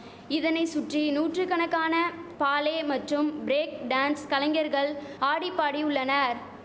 இதனை சுற்றி நூற்றுகணக்கான பாலே மற்றும் பிரேக் டான்ஸ் கலைஞர்கள் ஆடி பாடி உள்ளனர்